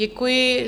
Děkuji.